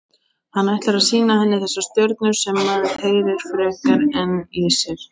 Hann ætlar að sýna henni þessar stjörnur sem maður heyrir frekar í en sér.